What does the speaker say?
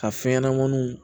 Ka fɛn ɲɛnamaninw